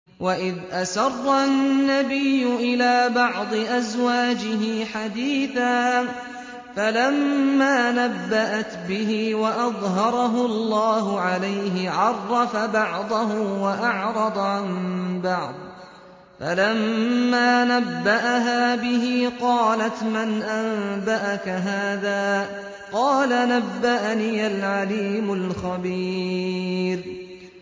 وَإِذْ أَسَرَّ النَّبِيُّ إِلَىٰ بَعْضِ أَزْوَاجِهِ حَدِيثًا فَلَمَّا نَبَّأَتْ بِهِ وَأَظْهَرَهُ اللَّهُ عَلَيْهِ عَرَّفَ بَعْضَهُ وَأَعْرَضَ عَن بَعْضٍ ۖ فَلَمَّا نَبَّأَهَا بِهِ قَالَتْ مَنْ أَنبَأَكَ هَٰذَا ۖ قَالَ نَبَّأَنِيَ الْعَلِيمُ الْخَبِيرُ